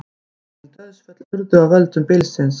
Engin dauðsföll urðu af völdum bylsins